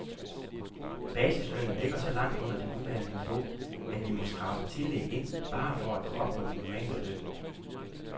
Basislønnen ligger så langt under det nuværende niveau, at vi må skrabe tillæg ind, bare for at nå op på den normale løn.